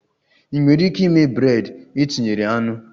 Ị nwere ike ịme bred e tinyere anụ?